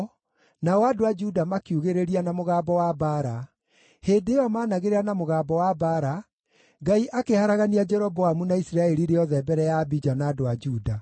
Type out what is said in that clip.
nao andũ a Juda makiugĩrĩria na mũgambo wa mbaara. Hĩndĩ ĩyo maanagĩrĩra na mũgambo wa mbaara, Ngai akĩharagania Jeroboamu na Isiraeli rĩothe mbere ya Abija na andũ a Juda.